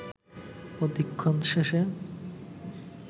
প্রদিক্ষণ শেষে